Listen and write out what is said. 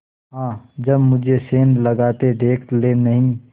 हाँ जब मुझे सेंध लगाते देख लेनहीं